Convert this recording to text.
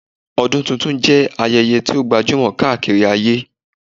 Ọdún tuntun jẹ́ ayẹyẹ tí ó gbajúmọ̀ káàkiri ayé